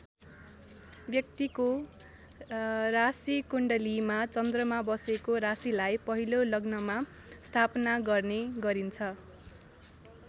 व्यक्तिको राशिकुण्डलीमा चन्द्रमा बसेको राशिलाई पहिलो लग्नमा स्थापना गर्ने गरिन्छ।